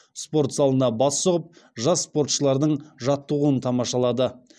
спорт залына бас сұғып жас спортшылардың жаттығуын тамашалады